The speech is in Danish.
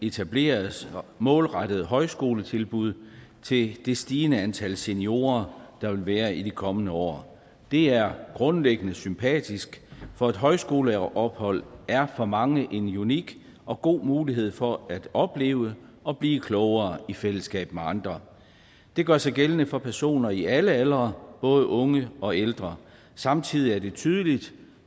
etableres målrettede højskoletilbud til det stigende antal seniorer der vil være i de kommende år det er grundlæggende sympatisk for et højskoleophold er for mange en unik og god mulighed for at opleve og blive klogere i fællesskab med andre det gør sig gældende for personer i alle aldre både unge og ældre samtidig er det tydeligt